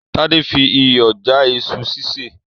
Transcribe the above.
Tádé fi iyọ̀ já iṣu sísè